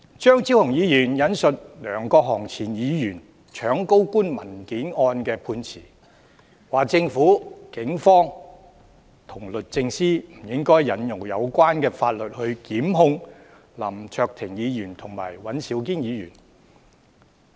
張超雄議員引述前議員梁國雄搶高官文件案的判詞，說政府、警方和律政司不應引用相關法例檢控林卓廷議員和尹兆堅議員。